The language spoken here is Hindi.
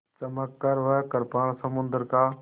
चमककर वह कृपाण समुद्र का